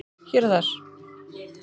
Hér og þar